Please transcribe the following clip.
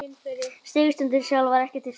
Sigurstundin sjálf var ekki til staðar